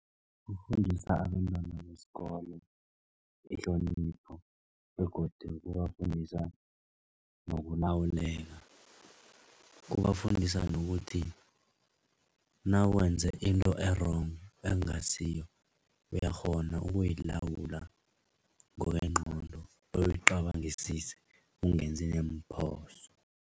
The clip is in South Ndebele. Kufundisa abentwana besikolo ihlonipho begodu kubafundisa nokulawuleka. Kubafundisa nokuthi nawenze into e-wrong, okungasiyo uyakghona ukuyilawula ngokwengqondo bewuyicabangisise ungenzi neemphoso.